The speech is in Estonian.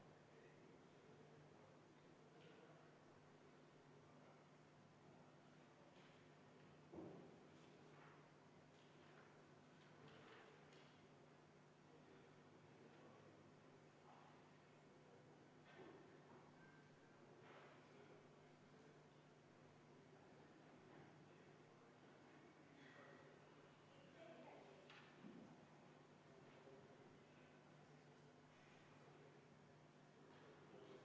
Juhtivkomisjon on jätnud selle arvestamata.